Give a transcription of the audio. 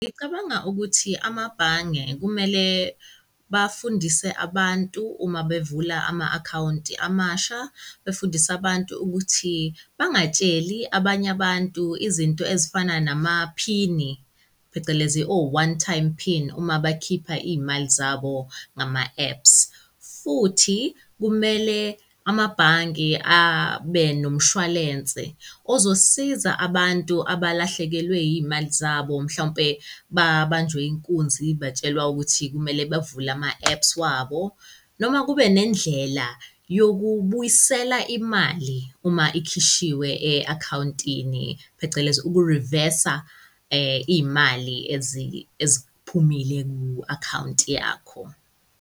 Ngicabanga ukuthi amabhange kumele bafundise abantu uma bevula ama-account amasha, befundise abantu ukuthi bangatsheli abanye abantu, izinto ezifana namaphini phecelezi o-one-time-pin uma bakhipha iy'mali zabo ngama-apps. Futhi kumele amabhange abe nomshwalense ozosiza bantu abalahlekelwe iy'mali zabo mhlawumbe babanjwe inkunzi batshelwa ukuthi kumele bavule ama-apps wabo noma kube nendlela yokubuyisela imali uma ikhishiwe e-account-ini, phecelezi uku reverser iy'mali ezi eziphumile ku-account yakho.